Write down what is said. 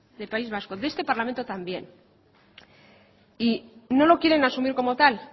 de país vasco de este parlamento también y no lo quieren asumir como tal